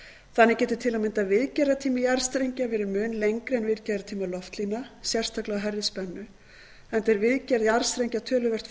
þannig getur til að mynda viðgerðartími jarðstrengja verið mun lengri en viðgerðartími loftlína sérstaklega á hærri spennu enda er viðgerð jarðstrengja töluvert